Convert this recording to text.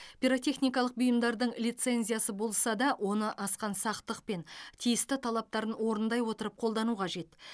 пиротехникалық бұйымдардың лицензиясы болса да оны асқан сақтықпен тиісті талаптарын орындай отырып қолдану қажет